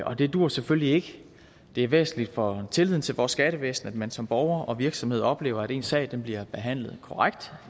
og det duer selvfølgelig ikke det er væsentligt for tilliden til vores skattevæsen at man som borger og virksomhed oplever at ens sag bliver behandlet korrekt